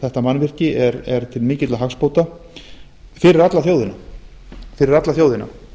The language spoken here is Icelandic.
þetta mannvirki er til mikilla hagsbóta fyrir alla þjóðina